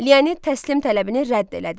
Leonid təslim tələbini rədd elədi.